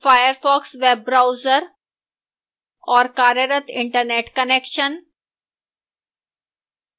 firefox web browser और कार्यरत internet connection